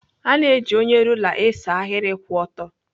A na-eji onye rula esee ahịrị kwụ ọtọ.